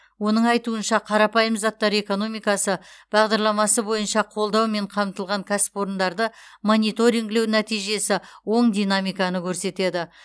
оның айтуынша қарапайым заттар экономикасы бағдарламасы бойынша қолдаумен қамтылған кәсіпорындарды мониторингілеу нәтижесі оң динамиканы көрсетеді